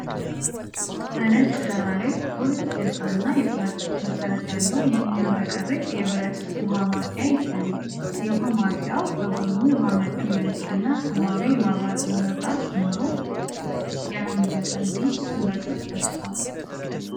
በነጭ ዳራ ላይ ጥቁር እጀታና የፕላስቲክ መሠረት ያለው የሚያብረቀርቅ የብረት ውሃ ማፍያ ይታያል። የውሃ ማፍያው በጎኑ የውሃ መጠን መለኪያና ሰማያዊ የማብራት መብራት ሲኖረው፣ የሃሚልተን ቢች (Hamilton Beach) ስም በግልጽ ተጽፏል።